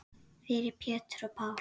Fyrir Pétur og Pál.